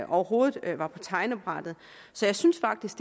overhovedet var på tegnebrættet så jeg synes faktisk